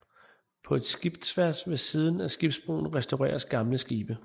På et skibsværft ved siden af skibsbroen restaureres gamle skibe